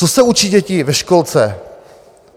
Co se učí děti ve školce?